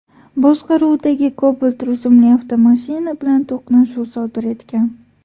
boshqaruvidagi Cobalt rusumli avtomashina bilan to‘qnashuv sodir etgan.